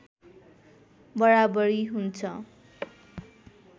बराबरी हुन्छ